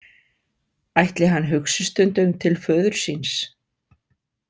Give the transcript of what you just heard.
Ætli hann hugsi stundum til föður síns?